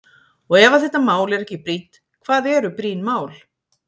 Og ef að þetta mál er ekki brýnt, hvað eru brýn mál?